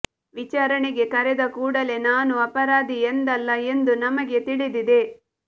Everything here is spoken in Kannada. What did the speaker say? ವಿಚಾರಣೆಗೆ ಕರೆದ ಕೂಡಲೇ ನಾನು ಅಪರಾಧಿ ಎಂದಲ್ಲ ಎಂದು ನಮಗೆ ತಿಳಿದಿದೆ